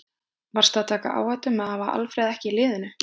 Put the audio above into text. Varstu að taka áhættu með að hafa Alfreð ekki í liðinu?